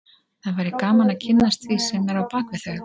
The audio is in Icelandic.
Það væri gaman að kynnast því sem er á bak við þau